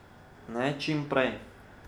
Ne čim prej.